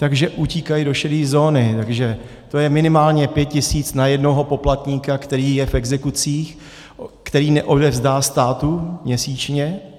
Takže utíkají do šedé zóny, takže to je minimálně 5 tisíc na jednoho poplatníka, který je v exekucích, které neodevzdá státu měsíčně.